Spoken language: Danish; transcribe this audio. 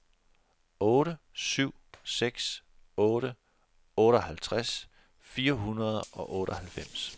otte syv seks otte otteoghalvtreds fire hundrede og otteoghalvfems